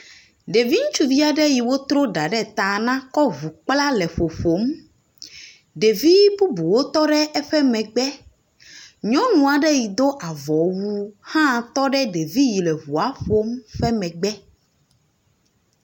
Ɖevi ŋutsuvi aɖe yi wotro ɖa ɖe ta na kɔ ŋu kpla le ƒoƒom. Ɖeviwo bubuwo tɔ ɖe eƒe megbe, nyɔnu aɖe yi do avɔwu hã tɔ ɖe ɖevi yi le ŋua ƒom ƒe megbe.